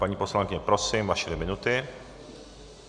Paní poslankyně, prosím, vaše dvě minuty.